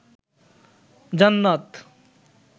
জান্নাত